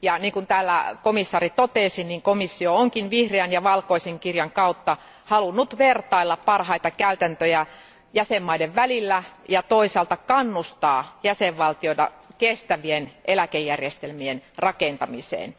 Kuten komission jäsen totesi, niin komissio onkin vihreän ja valkoisen kirjan kautta halunnut vertailla parhaita käytäntöjä jäsenvaltioiden välillä ja toisaalta kannustaa jäsenvaltioita kestävien eläkejärjestelmien rakentamiseen.